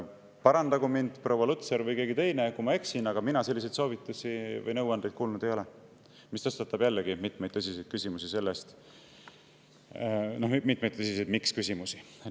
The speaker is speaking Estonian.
Parandagu mind proua Lutsar või keegi teine, kui ma eksin, aga mina selliseid soovitusi või nõuandeid kuulnud ei ole, mis tõstatab jällegi tõsiseid miks-küsimusi.